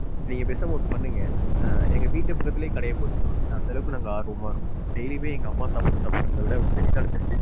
நீங்க பேசாம ஒன்னு பண்ணுங்க. அஹ் எங்க வீட்டு பக்கத்துலையே கடைய போட்டுறலாம் ஏன்னா, அந்த அளவுக்கு நாங்க ஆர்வமா இருக்கோம். daily யுமே எங்க அம்மா சாப்பாட்ட சாப்பிடுறத விட உங்க செட்டிநாடு மெஸ்